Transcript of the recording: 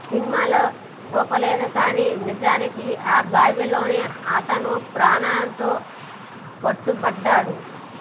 సినిమాలో చూపలేదు కానీ నిజానికి ఆ బావిలోనే అతను ప్రాణాలతో పట్టుబడ్డాడు